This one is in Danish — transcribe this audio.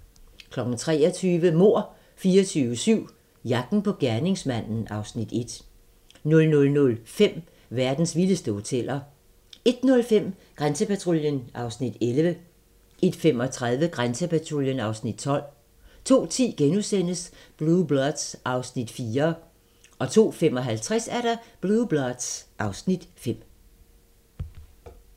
23:00: Mord 24/7 - jagten på gerningsmanden (Afs. 1) 00:05: Verdens vildeste hoteller 01:05: Grænsepatruljen (Afs. 11) 01:35: Grænsepatruljen (Afs. 12) 02:10: Blue Bloods (Afs. 4)* 02:55: Blue Bloods (Afs. 5)